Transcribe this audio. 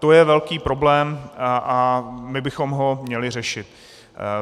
To je velký problém a my bychom ho měli řešit.